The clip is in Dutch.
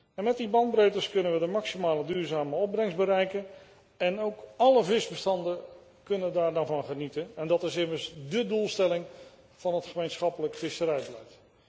En met die bandbreedtes kunnen we de maximale duurzame opbrengst bereiken en ook alle visbestanden kunnen daar dan van genieten. En dat is immers de doelstelling van het gemeenschappelijk visserijbeleid.